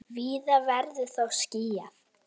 Víða verður þó skýjað.